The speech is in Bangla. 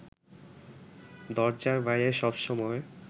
দরজার বাইরে সবসময়